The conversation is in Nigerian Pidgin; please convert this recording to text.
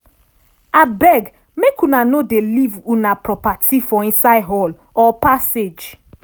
abeg make una no dey leave una properti for inside hall or passage.